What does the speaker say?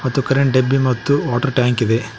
ಮತ್ತು ಕರೆಂಟ್ ಡಬ್ಬಿ ಮತ್ತು ವಾಟರ್ ಟ್ಯಾಂಕ್ ಇದೆ.